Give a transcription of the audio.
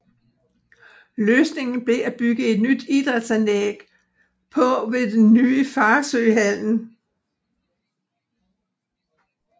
Løsningen blev at bygge et nyt idrætsanlæg på ved den nye Farsø Hallen